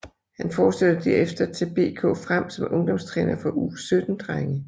Han fortsatte derefter til BK Frem som ungdomstræner for U17 drenge